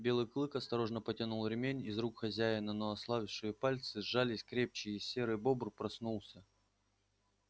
белый клык осторожно потянул ремень из рук хозяина но ослабевшие пальцы сжались крепче и серый бобр проснулся